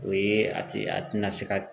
O ye a ti a tina se ka